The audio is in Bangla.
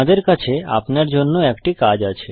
আমাদের কাছে আপনার জন্য একটি কাজ আছে